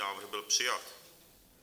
Návrh byl přijat.